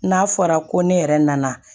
N'a fɔra ko ne yɛrɛ nana